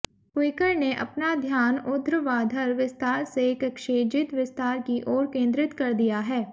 quicker ने अपना ध्यान ऊध्र्वाधर विस्तार से क्षैतिज विस्तार की ओर केंद्रित कर दिया है